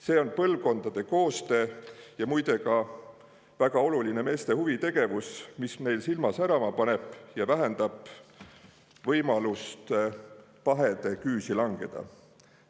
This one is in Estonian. See on põlvkondade koostöö ja muide ka väga oluline meeste huvitegevus, mis meil silma särama paneb ja vähendab võimalust pahede küüsi langeda.